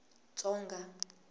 tsonga